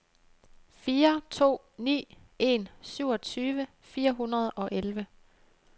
fire to ni en syvogtyve fire hundrede og elleve